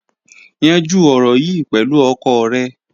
Yanjú ọ̀rọ̀ yìí pẹ̀lú ọkọ rẹ.